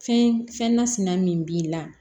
Fɛn fɛn nasina min b'i la